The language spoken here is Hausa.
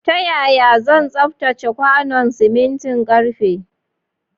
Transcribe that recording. Ta yaya zan tsaftace kwanon simintin ƙarfe?